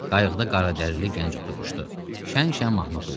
Qayıqda qaradərili gənc oturmuşdu, şən-şən mahnı oxuyurdu.